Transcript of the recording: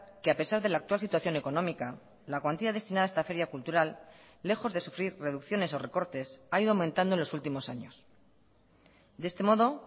que a pesar de la actual situación económica la cuantía destinada a esta feria cultural lejos de sufrir reducciones o recortes ha ido aumentando en los últimos años de este modo